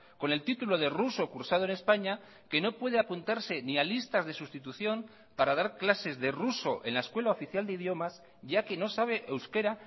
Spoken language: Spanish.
con el título de ruso cursado en españa que no puede apuntarse ni a listas de sustitución para dar clases de ruso en la escuela oficial de idiomas ya que no sabe euskera